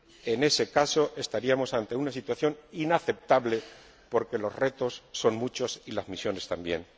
En ese caso estaríamos ante una situación inaceptable, porque los retos son muchos y las misiones también.